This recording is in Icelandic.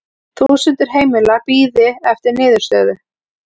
Þúsundir heimila bíði eftir niðurstöðu